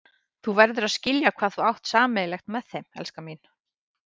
Þú verður að skilja hvað þú átt sameiginlegt með þeim, elskan mín.